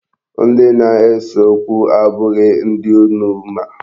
Ndi na-ese okwu abụghị ndị unu ma.